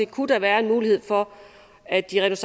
kunne være en mulighed for at de rent